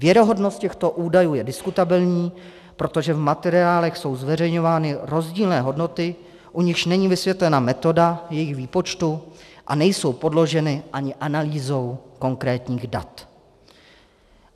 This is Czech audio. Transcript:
Věrohodnost těchto údajů je diskutabilní, protože v materiálech jsou zveřejňovány rozdílné hodnoty, u nichž není vysvětlena metoda jejich výpočtu, a nejsou podloženy ani analýzou konkrétních dat.